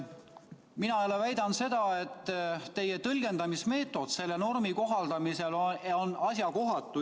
Mina jälle väidan seda, et teie tõlgendamismeetod selle normi kohaldamisel on asjakohatu.